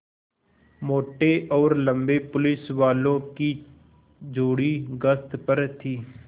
मोटे और लम्बे पुलिसवालों की जोड़ी गश्त पर थी